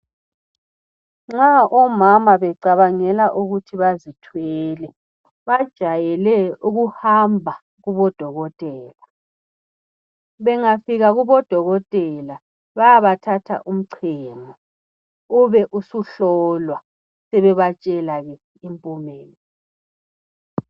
Nxa omama becabangela ukuthi bazithwele ,bajayele ukuhamba kubodokotela. Bengafika kubodokotela bayabathatha umcemo ,ube usuhlolwa sebebatshelake impumela